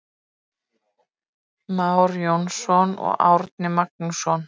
Már Jónsson, Árni Magnússon.